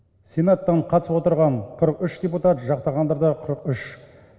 сенаттан қатысып отырған қырық үш депутат жақтағандар да қырық үш